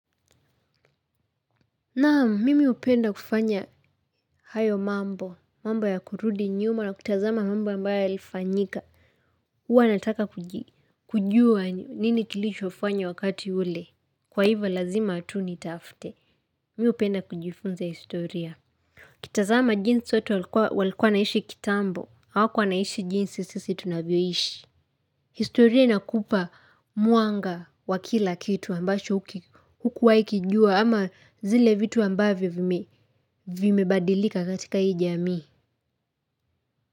Naam, mimi hupenda kufanya hayo mambo, mambo ya kurudi nyuma na kutazama mambo ambayo ilifanyika. Uwa nataka kujua nini kilichofanywa wakati ule. Kwa hivo lazima tu nitafte. Mimi hupenda kujifunza historia. Ukitazama jinsi watu walikua wanaishi kitambo. Hawa kuwa wanaishi jinsi sisi tunavyoishi. Historia ina kupa mwanga wa kila kitu ambacho huku waikijua ama zile vitu ambayo vime. Vi mebadilika katikaa ijami.